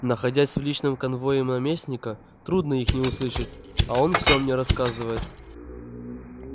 находясь в личном конвое наместника трудно их не услышать а он всё мне рассказывает